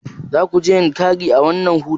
Zakuje yankari a wannan hutun?